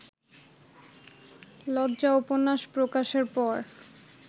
লজ্জা উপন্যাস প্রকাশের পর